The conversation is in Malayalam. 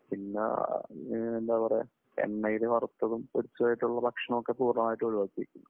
പിന്നെ എന്താ പറയുക എണ്ണയിൽ വറുത്തതും പൊരിച്ചതും ആയിട്ടുള്ള ഭക്ഷണം ഒക്കെ പൂർണമായിട്ടും ഒഴിവാക്കി.